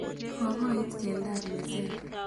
Kokoit keldab meset.